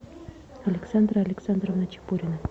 александра александровна чепурина